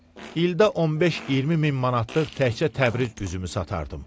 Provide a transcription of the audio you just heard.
İldə 15-20 min manatlıq təkcə Təbriz üzümü satardım.